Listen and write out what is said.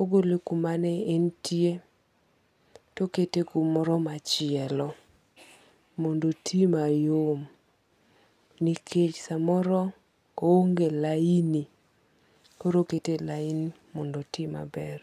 Ogole kuma ne entie tokete kumoro machielo. Mondo oti mayom. Nikech samoro o onge laini koro okete e laini mondo oti maber.